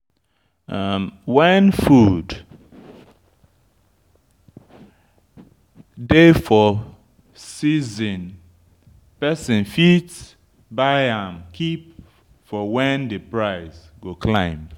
When food dey for season person fit buy am keep for when di price go climb